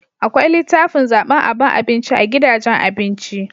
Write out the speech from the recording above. Akwai litafin zaban aban abinci a gidajen abinci